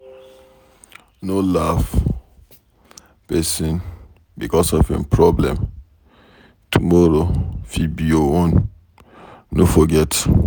No laugh pesin becos of em problem, tomorrow fit be your own no forget.